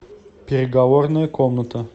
переговорная комната